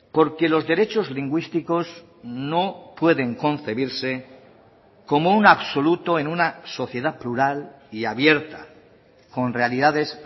porque los derechos lingüísticos no pueden concebirse como un absoluto en una sociedad plural y abierta con realidades